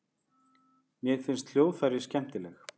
Mér finnst hljóðfræði skemmtileg.